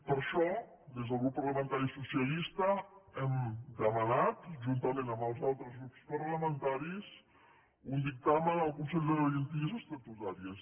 per això des del grup parlamentari socialista hem demanat juntament amb els altres grups parlamentaris un dictamen al consell de garanties estatutàries